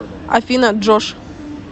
афина джош